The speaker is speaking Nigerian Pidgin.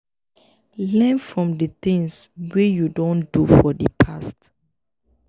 learn from di things wey you don do for di past